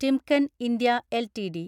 Timken India LTD